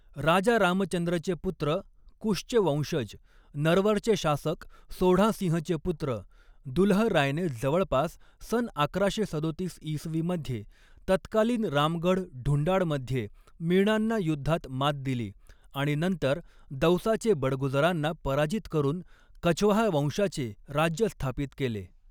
राजा रामचन्द्रचे पुत्र कुशचे वंशज, नरवरचे शासक सोढ़ा सिंहचे पुत्र दुलहरायने जवळपास सन अकराशे सदोतीस इसवीमध्ये तत्कालीन रामगढ़ ढूंढाड़मध्ये मीणांना युद्धात मात दिली आणि नंतर दौसाचे बड़गुजरांना पराजित करून कछवाहा वंशाचे राज्य स्थापित केले.